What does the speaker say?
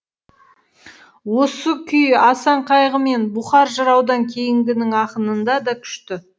осы күй асан қайғы мен бұқар жыраудан кейінгінің ақынында да күшті